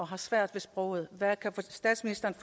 har svært ved sproget hvad kan statsministeren